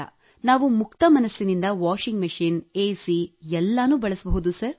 ನಾವು ಮುಕ್ತ ಮನಸ್ಸಿನಿಂದ ವಾಷಿಂಗ್ ಮೆಷಿನ್ ಎಸಿ ಎಲ್ಲ ಬಳಸಬಹುದು ಸರ್